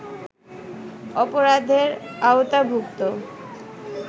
অপরাধের আওতাভূক্ত